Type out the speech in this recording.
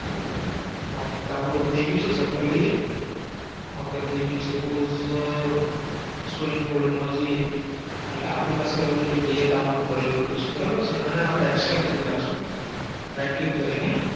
okay download થઈ ગયું છે ચેક કરી લઈએ okay થઈ ગયું છે Podge Swing Folder માં જઈએ એટલે આપનણી પાસે તૈયાર download કરેલું પડ્યું છે બરોબર છે આને આપણે Extract કરી નાખશું right click કરીને